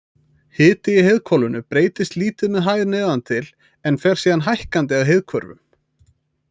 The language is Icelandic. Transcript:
Hiti í heiðhvolfinu breytist lítið með hæð neðan til, en fer síðan hækkandi að heiðhvörfum.